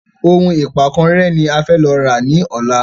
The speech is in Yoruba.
Òun ìpankan rẹ́ ní a fẹ lọ rà ní ọ̀la